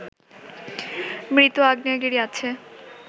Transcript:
মৃত আগ্নেয়গিরি আছে